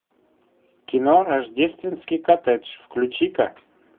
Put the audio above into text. кино рождественский коттедж включи ка